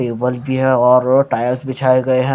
ये बल्ब भी है और टायर्स बिछाये गए हैं।